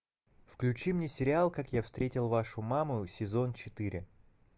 включи мне сериал как я встретил вашу маму сезон четыре